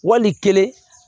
Wali kelen